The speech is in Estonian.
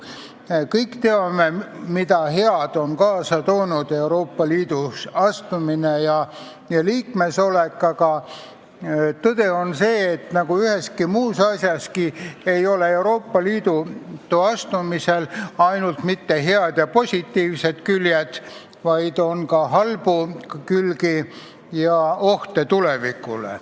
Me kõik teame, mida head on kaasa toonud Euroopa Liitu astumine ja selle liikmeks olek, aga tõde on see, et nagu kõigil muudel asjadel, nii ei ole ka Euroopa Liitu astumisel mitte ainult head ja positiivsed küljed, vaid on ka halbu külgi ja ohte tulevikule.